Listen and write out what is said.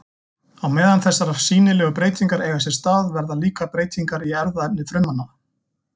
Á meðan þessar sýnilegu breytingar eiga sér stað verða líka breytingar í erfðaefni frumanna.